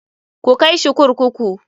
KU kai shi kurkuku!